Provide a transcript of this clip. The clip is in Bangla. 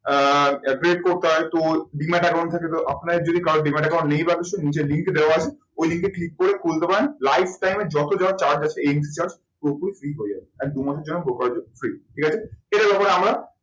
আহ demat account থাকে তো আপনাদের যদি কারো demat account নেয় বা কিছু নিচে link দেওয়া আছে ওই link এ click করে খুলতে পারেন life time এ যত যা charge আছে charge পুরোপুরি free হয়ে যাবে। আর দুমাসের জন্য brokerage charge free ঠিক আছে।